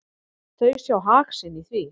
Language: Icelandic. Þau sjá hag sinn í því.